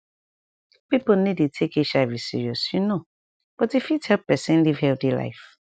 pipo no dey take hiv seriousyou know but e fit help pesin live healthy life